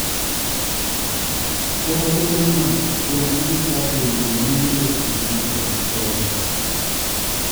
Chakore chieng'no chuo ma jochadi oluoro mine e piem mar yuayo tol.